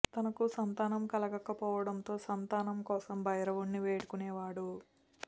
తనకు సంతానం కలుగక పోవడంతో సంతానం కోసం భైరవున్ని వేడుకునేవాడు